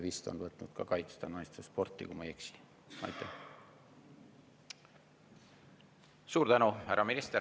Suur tänu, härra minister!